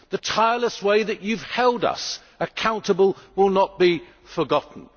The tireless way that you have held us accountable will not be forgotten.